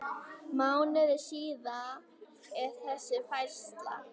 Mánuði síðar er þessi færsla